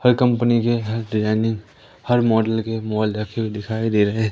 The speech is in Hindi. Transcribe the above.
हर कंपनी के डिजाइनिंग हर मॉडल के मोबाइल रखे हुए दिखाई दे रहे--